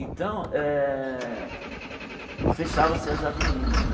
Então, eh fechavam-se as avenidas né.